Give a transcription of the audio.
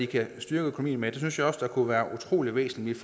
kan styrke økonomien med synes jeg også det kunne være utrolig væsentligt